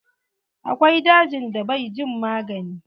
Akwai dajin da bai jin magani.